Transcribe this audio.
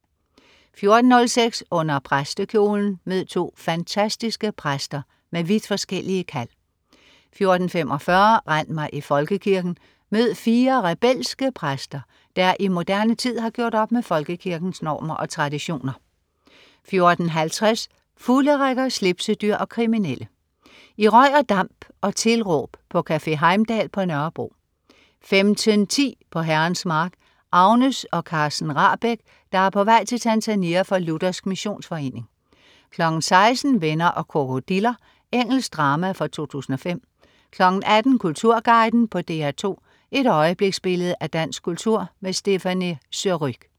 14.06 Under præstekjolen. Mød to fantastiske præster med vidt forskellige kald 14.45 Rend mig i Folkekirken! Mød fire rebelske præster, der i moderne tid har gjort op med Folkekirkens normer og traditioner 14.50 Fulderikker, slipsedyr og kriminelle. I røg og damp og tilråb på Café Heimdal på Nørrebro 15.10 På Herrens mark. Agnes og Carsten Rahbek, der er på vej til Tanzania for Luthersk Missionsforening 16.00 Venner og krokodiller. Engelsk drama fra 2005 18.00 Kulturguiden på DR2. Et øjebliksbillede af dansk kultur. Stéphanie Surrugue